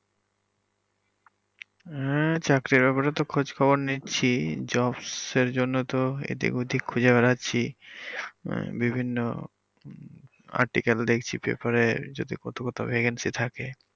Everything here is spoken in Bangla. হ্যা চাকরির ব্যাপারে তো খোজ খবর নিচ্ছি jobs এর জন্য তো এদিক ওদিক খুজে বেড়াচ্ছি আহ বিভিন্ন article দেখছি paper এর যদি কোথাও কোথাও vacancy থাকে